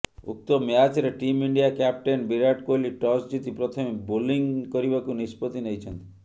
ଉକ୍ତ ମ୍ୟାଚରେ team India captain Virat Kohli toss ଜିତି ପ୍ରଥମେ ବୋଲିଂ କରିବାକୁ ନିଷ୍ପତ୍ତି ନେଇଛନ୍ତି